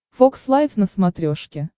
фокс лайв на смотрешке